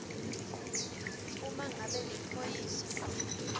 uma ngabe liphoyisa